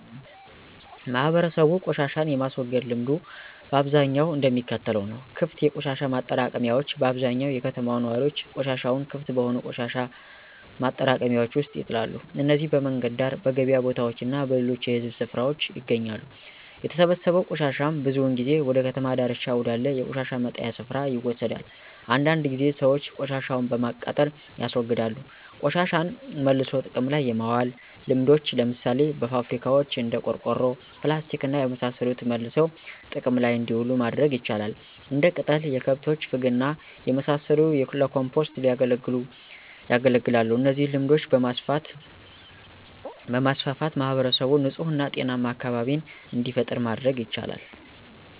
ማህበረሰቡ ቆሻሻን የማስወገድ ልምዱ በአብዛኛው እንደሚከተለው ነው -* ክፍት የቆሻሻ ማጠራቀሚያዎች በአብዛኛው የከተማው ነዋሪዎች ቆሻሻቸውን ክፍት በሆኑ የቆሻሻ ማጠራቀሚያዎች ውስጥ ይጥላሉ። እነዚህም በመንገድ ዳር፣ በገበያ ቦታዎች እና በሌሎች የህዝብ ስፍራዎች ይገኛሉ። የተሰበሰበው ቆሻሻም ብዙውን ጊዜ ወደ ከተማ ዳርቻ ወዳለ የቆሻሻ መጣያ ስፍራ ይወሰዳል። አንዳንድ ጊዜ ሰዎች ቆሻሻቸውን በማቃጠል ያስወግዳሉ *ቆሻሻን መልሶ ጥቅም ላይ የማዋል ልምዶች፦ ለምሳሌ በፋብሪካዋች እንደ ቆርቆሮ፣ ፕላስቲክና የመሳሰሉት መልሰው ጥቅም ላይ እንዲውሉ ማድረግ ይቻላል። *እንደ ቅጠል፣ የከብቶች ፍግና የመሳሰሉት ለኮምፖስት ያገለግላሉ እነዚህን ልምዶች በማስፋፋት ማህበረሰቡን ንጹህ እና ጤናማ አካቢቢን እንዲፈጥሩ ማድረግ ይቻላል።